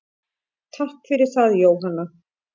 Takk fyrir það Jóhanna.